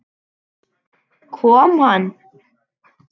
Kom hann?